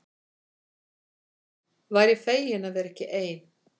Væri fegin að vera ekki ein.